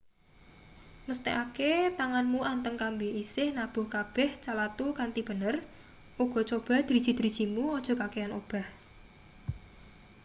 mesthekake tanganmu anteng kambi isih nabuh kabeh calathu kanthi bener uga coba driji-drijimu aja kakehan obah